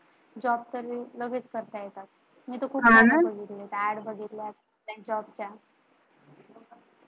job search लगेच करता येतात, हा ना, नाहीतर कुठं कळणार? त्यांच्या ad बघितल्या Job च्या